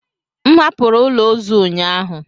M hapụrụ ụlọ ozu ụnyaahụ.